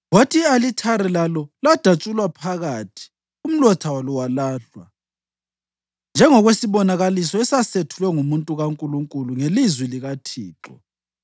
Kwathi i-alithari lalo ladatshulwa phakathi umlotha walo walahlwa, njengokwesibonakaliso esasethulwe ngumuntu kaNkulunkulu ngelizwi likaThixo.